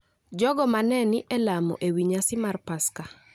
jogo ma ne ni e lamo ewi nyasi mar Paska,